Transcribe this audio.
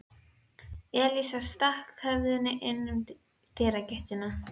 Elías stakk höfðinu inn um dyragættina.